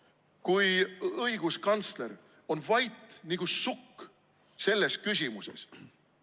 ... kui õiguskantsler on vait nagu sukk selles küsimuses.